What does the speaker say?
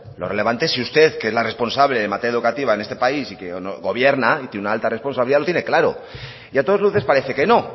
lo relevante es si usted que es la responsable en materia educativa en este país y que gobierna y tiene una alta responsabilidad lo tiene claro y a todas luces parece que no